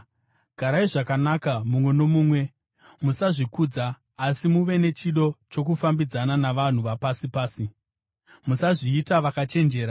Garai zvakanaka mumwe nomumwe. Musazvikudza, asi muve nechido chokufambidzana navanhu vapasi pasi. Musazviita vakachenjera.